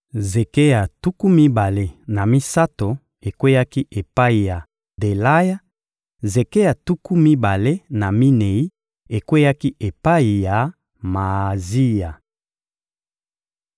zeke ya tuku mibale na misato ekweyaki epai ya Delaya; zeke ya tuku mibale na minei ekweyaki epai ya Maazia.